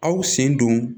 Aw sen don